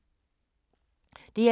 DR2